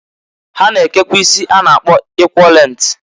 Ha na-ekekwa isi sungas a na-akpọ eqaul length.